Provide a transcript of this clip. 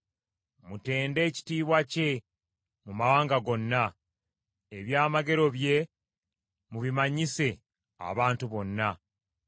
Mutende ekitiibwa kye mu mawanga gonna, eby’amagero bye mubimanyise abantu bonna.